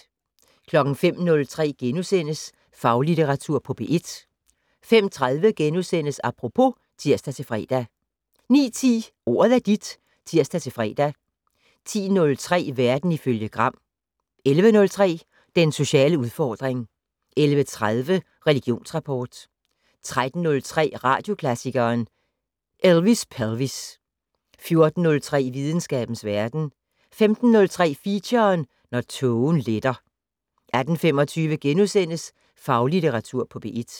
05:03: Faglitteratur på P1 * 05:30: Apropos *(tir-fre) 09:10: Ordet er dit (tir-fre) 10:03: Verden ifølge Gram 11:03: Den sociale udfordring 11:30: Religionsrapport 13:03: Radioklassikeren: Elvis Pelvis 14:03: Videnskabens Verden 15:03: Feature: Når tågen letter 18:25: Faglitteratur på P1 *